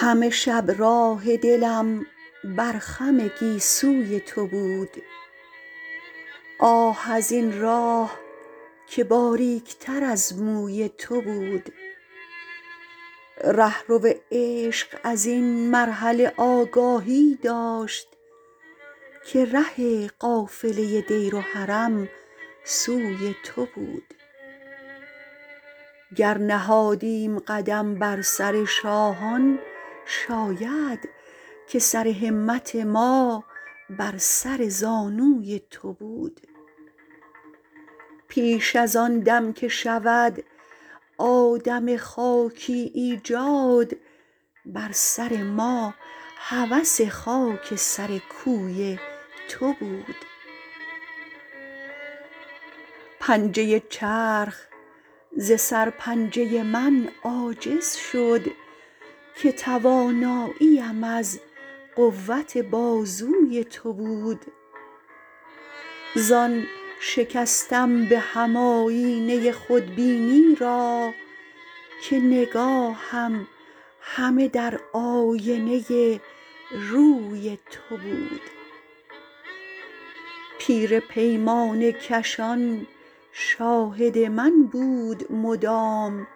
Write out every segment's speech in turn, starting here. همه شب راه دلم بر خم گیسوی تو بود آه از این راه که باریک تر از موی تو بود رهرو عشق از این مرحله آگاهی داشت که ره قافله دیر و حرم سوی تو بود گر نهادیم قدم بر سر شاهان شاید که سر همت ما بر سر زانوی تو بود پیش از آن دم که شود آدم خاکی ایجاد بر سر ما هوس خاک سر کوی تو بود پنجه چرخ ز سر پنجه من عاجز شد که توانایی ام از قوت بازوی تو بود زان شکستم به هم آیینه خودبینی را که نگاهم همه در آینه روی تو بود پیر پیمانه کشان شاهد من بود مدام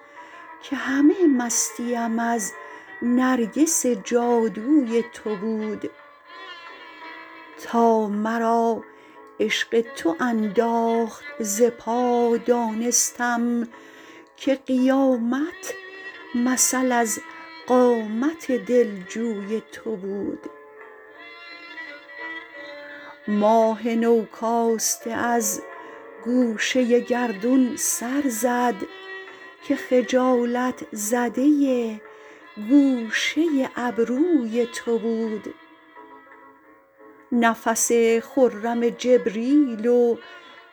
که همه مستیم از نرگس جادوی تو بود تا مرا عشق تو انداخت ز پا دانستم که قیامت مثل از قامت دل جوی تو بود ماه نو کاسته از گوشه گردون سر زد که خجالت زده گوشه ابروی تو بود نفس خرم جبریل و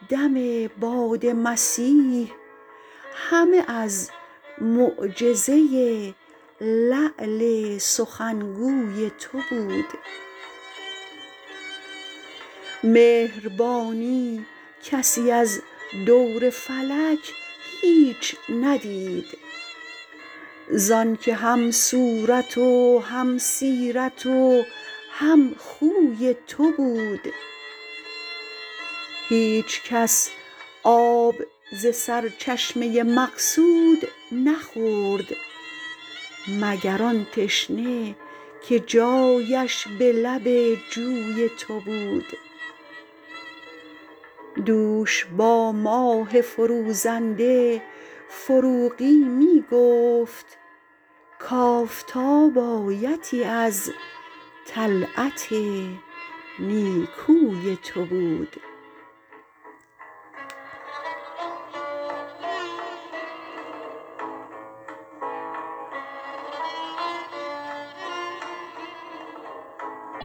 دم باد مسیح همه از معجزه لعل سخنگوی تو بود مهربانی کسی از دور فلک هیچ ندید زان که هم صورت و هم سیرت و هم خوی تو بود هیچ کس آب ز سرچشمه مقصود نخورد مگر آن تشنه که جایش به لب جوی تو بود دوش با ماه فروزنده فروغی می گفت کافتاب آیتی از طلعت نیکوی تو بود